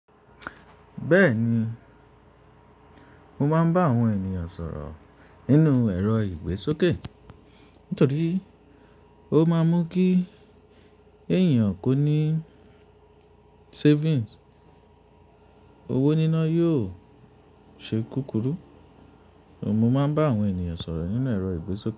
Bẹ́ẹ̀ni, mo máa ń bá àwọn ènìyàn sọ̀rọ̀ nínú ẹ̀rọ igbe sọ́kẹ́ nítorí ó máa n mú kí èèyàn kó ní savings, owó níná yóò ṣe kúkúrú. Òun mo máa ń bá àwọn ènìyàn sọ̀rọ̀ nínú ẹ̀rọ igbe soke.